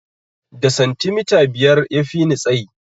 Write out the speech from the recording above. Da santimita biyar ya fini tsani